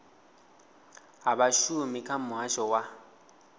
ha vhashumi kha muhasho wa